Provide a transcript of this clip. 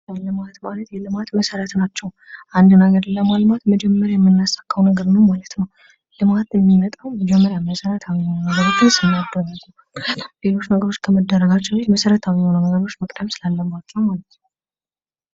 የልማት ባንክ የልማት መሰረት ናቸዉ። አንድ ነገር ለማልማት መጀመሪያ የምናሳካዉ ነገር ምን ማለት ነዉ? ልማት የሚመጣዉ መጀመሪያ መሰረታዊ የሆኑ ነገሮችን ስናደርግ ነዉ። ምክንያቱም ሌሎች ነገሮችን ከማድረጋችን በፊት መሰረታዊ የሆኑ ነገሮች መቅደም ስላለባቸዉ ማለት ነዉ።